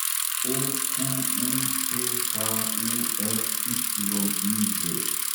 OQUČHUŠYIV